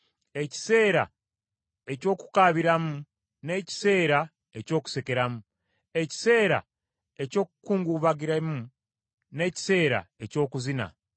ekiseera eky’okukaabiramu n’ekiseera eky’okusekeramu; ekiseera eky’okukungubaga n’ekiseera eky’okuzina;